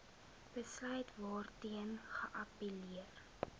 besluit waarteen geappelleer